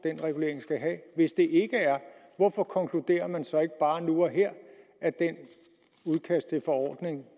regulering skal have hvis det ikke er hvorfor konkluderer man så ikke bare nu og her at det udkast til forordning